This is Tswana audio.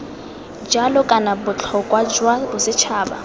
jalo kana botlhokwa jwa bosetšhaba